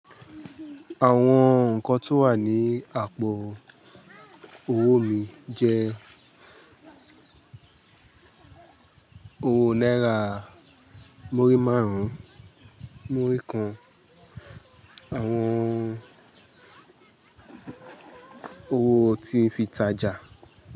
Àwọn nǹkan tó wà ní àpò owó mi jẹ́ owó náírà murí márùn-ún, murí kan, àwọn owó tí ń fi ìtajà.